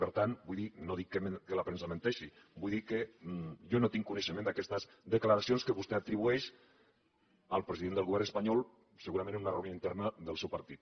per tant vull dir no dic que la premsa menteixi vull dir que jo no tinc coneixement d’aquestes declaracions que vostè atribueix al president del govern espanyol segurament en una reunió interna del seu partit